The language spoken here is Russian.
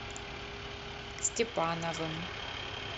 степановым